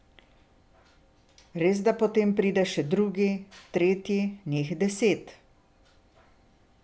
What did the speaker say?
Resda potem pride še drugi, tretji, njih deset.